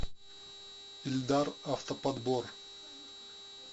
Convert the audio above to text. ильдар автоподбор